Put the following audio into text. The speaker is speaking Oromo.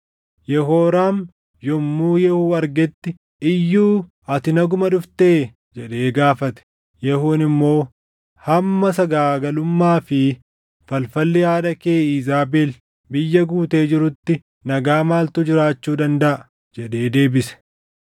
Yehooraam yommuu Yehuu argetti, “Iyyuu, ati naguma dhuftee?” jedhee gaafate. Yehuun immoo, “Hamma sagaagalummaa fi falfalli haadha kee Iizaabel biyya guutee jirutti nagaa maaltu jiraachuu dandaʼa?” jedhee deebise.